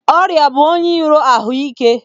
Ọrịa bụ onye iro ahụ ike.